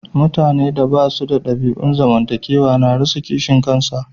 Mutane da ba su da dabi'un zamantakewa na rasa kishin kasa.